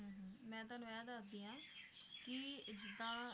ਮੈ ਤੁਹਾਨੂੰ ਇਹ ਦੱਸਦੀ ਆ ਕਿ ਜਿੱਦਾਂ